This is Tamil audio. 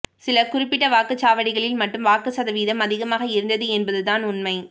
சில குறிப்பிட்ட வாக்குச் சாவடிகளில் மட்டும் வாக்கு சதவீதம் அதிகமாக இருந்தது என்பதுதான் உண்மை